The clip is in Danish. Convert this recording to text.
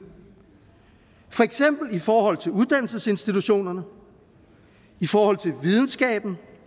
for eksempel i forhold til uddannelsesinstitutionerne i forhold til videnskaben